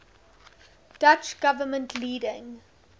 dutch government leading